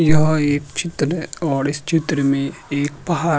यह एक चित्र है और इस चित्र में एक पहाड़ --